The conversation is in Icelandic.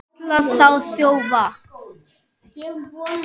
Kallaði þá þjófa.